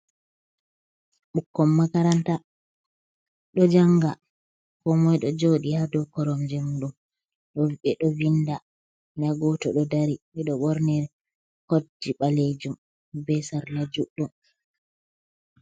bukkon makaranta do janga ko moy do jodi ha do koromjem dum do be do vinda nda goto do dari beɗo bornii kodji balejum be sarla juɗɗum.